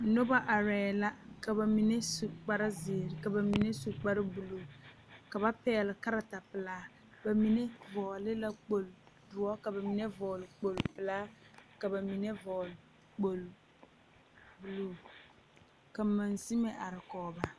Noba are la ka bamine su kpare ziiri ka bamine su kpare buluu ka ba pegle kaareta pelaa ka bamine vɔgle kpol pelaa ka bamine vɔgle kpol buluu ka magsime are kɔŋ ba.